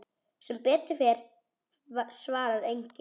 Sem betur fer svarar enginn.